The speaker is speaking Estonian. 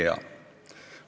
Ei tea.